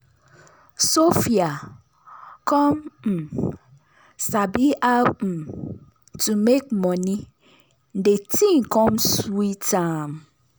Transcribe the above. sophia come um sabi how um to make money de thing come sweet am.